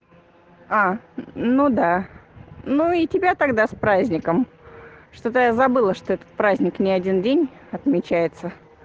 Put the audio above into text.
а ну да ну и тебя тогда с праздником что-то я забыла что этот праздник ни один день отмечается